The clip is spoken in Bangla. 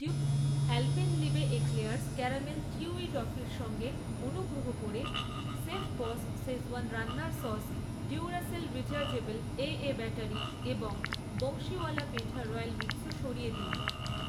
আ্যলপেনলিবে এক্লেয়ার্স ক্যারামেল চিউই টফির সঙ্গে, অনুগ্রহ করে শেফবস শেজওয়ান রান্নার sauce, Duracell rechargeable AA battery এবং বংশীওয়ালা পেঠা রয়্যাল মিক্সও সরিয়ে দিন।